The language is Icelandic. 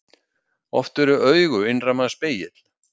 Oft eru augu innra manns spegill.